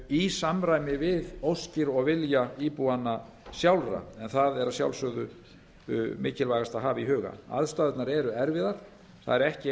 í samræmi við óskir og vilja íbúanna sjálfra en það er að sjálfsögðu mikilvægast að hafa í huga aðstæðurnar eru erfiðar það er